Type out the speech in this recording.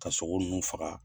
Ka sogo ninnu faga.